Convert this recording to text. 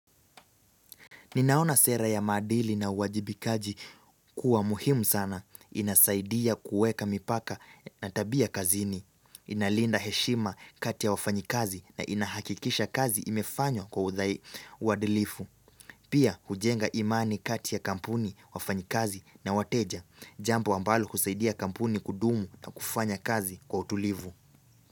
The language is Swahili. Ninaona sera ya maadili na uwajibikaji kuwa muhimu sana. Inasaidia kuweka mipaka na tabia kazini. Inalinda heshima kati ya wafanyikazi na inahakikisha kazi imefanywa kwa udhai uadilifu. Pia hujenga imani kati ya kampuni, wafanyikazi na wateja. Jambo ambalo husaidia kampuni kudumu na kufanya kazi kwa utulivu.